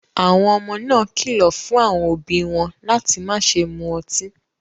Àwọn ọmọ náà kìlọ̀ fún àwọn òbí wọn láti má ṣe mu ọtí.